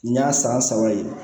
N y'a san saba ye